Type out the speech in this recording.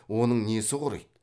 оның несі құриды